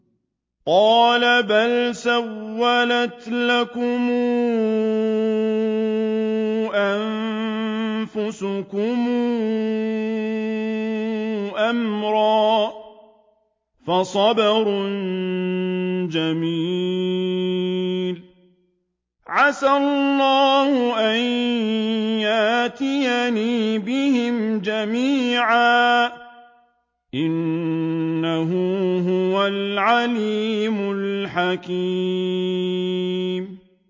قَالَ بَلْ سَوَّلَتْ لَكُمْ أَنفُسُكُمْ أَمْرًا ۖ فَصَبْرٌ جَمِيلٌ ۖ عَسَى اللَّهُ أَن يَأْتِيَنِي بِهِمْ جَمِيعًا ۚ إِنَّهُ هُوَ الْعَلِيمُ الْحَكِيمُ